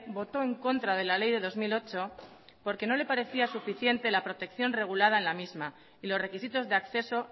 votó en contra de la ley de dos mil ocho porque no le parecía suficiente la protección regulada en la misma y los requisitos de acceso